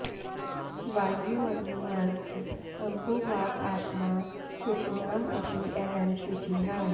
वायु अग्नि अर्क अम्बु वाक् आत्मा शुचीनाम् अपि अहं शुचिः